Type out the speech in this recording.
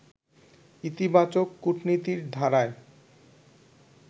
ইতিবাচক কূটনীতির ধারায়